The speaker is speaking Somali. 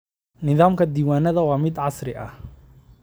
Nidaamkayaga diiwaannada waa mid casri ah.